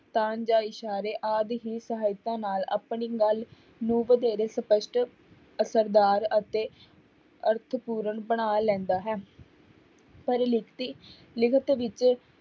ਜਾਂ ਇਸ਼ਾਰੇ ਆਦਿ ਹੀ ਸਹਾਇਤਾ ਨਾਲ ਆਪਣੀ ਗੱਲ ਨੂੰ ਵਧੇਰੇ ਸਪਸ਼ਟ ਅਸ਼ਰਦਾਰ ਅਤੇ ਅਰਥਪੂਰਨ ਬਣਾ ਲੈਂਦਾ ਹੈ ਪਰ ਲਿਖਤੀ ਲਿਖਤ ਵਿੱਚ